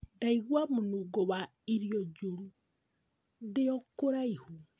Ndaigua mũnungo wa irio njuru ndio kũraihu